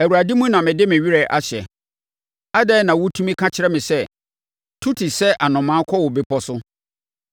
Awurade mu na mede me werɛ ahyɛ. Adɛn na wotumi ka kyerɛ me sɛ, “Tu te sɛ anomaa kɔ wo bepɔ so.